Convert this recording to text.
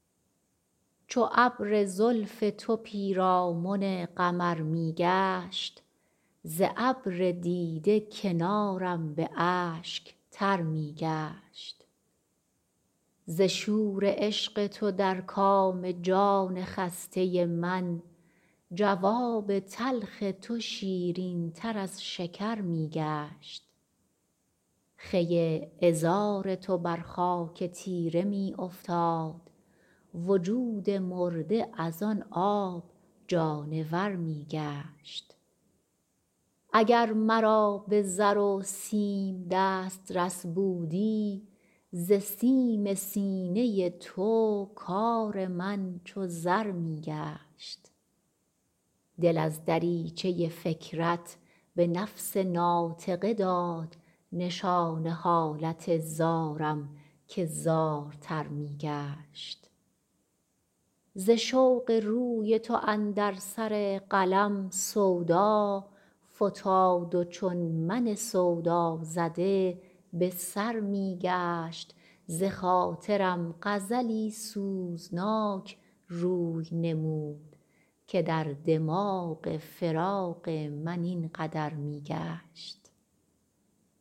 چو ابر زلف تو پیرامن قمر می گشت ز ابر دیده کنارم به اشک تر می گشت ز شور عشق تو در کام جان خسته من جواب تلخ تو شیرین تر از شکر می گشت خوی عذار تو بر خاک تیره می افتاد وجود مرده از آن آب جانور می گشت اگر مرا به زر و سیم دسترس بودی ز سیم سینه تو کار من چو زر می گشت دل از دریچه فکرت به نفس ناطقه داد نشان حالت زارم که زارتر می گشت ز رشک قد تو اندر سر قلم سودا فتاد و چون من سودازده به سر می گشت بخاطرم غزلی سوزناک روی نمود که در دماغ خیال من این قدر می گشت